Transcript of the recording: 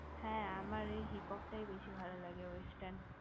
হ্যা আমার ওই hip hop টাই বেশি ভালো লাগে western